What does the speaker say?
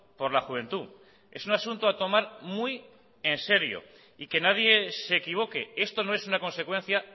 por la juventud es un asunto a tomar muy en serio y que nadie se equivoque esto no es una consecuencia